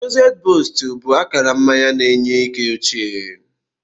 Lucozade boost bụ akara mmanya na-enye ike ochie.